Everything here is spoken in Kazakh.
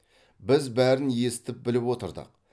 біз бәрін естіп біліп отырдық